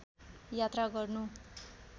यात्रा गर्नु